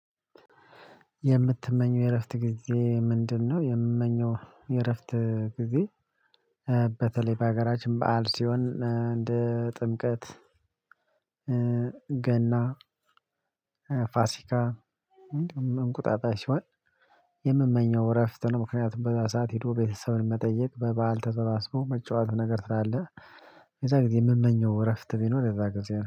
የምትመኘው የእረፍት ጊዜ ምንድነው? የምመኘው የእረፍት ጊዜ በተለይ በሀገራችን በዓል ሲሆን እንደ ጥምቀት ገና ፋሲካ እንደውም እንቁጣጣሽ ሲሆን የምመኘው እረፍት ነው ምክንያቱም በዚያ ሰዓት ሄዶ ቤተሰብን መጠየቅ በባል ተሰባስቦ መጫወት ነገር ስላለ በእዛ ጊዜ የምመኘው እረፍት ቢኖር በእዛ ጊዜ ነው።